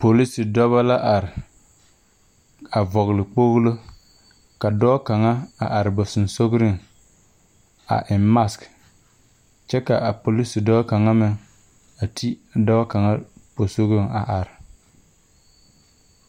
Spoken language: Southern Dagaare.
Pilose dɔbɔ la are a vɔgle kpoglo ka dɔɔ kaŋa a are ba dɔgsɔliŋ a eŋ masg kyɛ ka a polise dɔɔ kaŋa meŋ a ti dɔɔ kaŋa posɔgɔŋ a are.